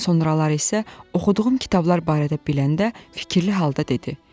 Sonraları isə oxuduğum kitablar barədə biləndə fikirli halda dedi: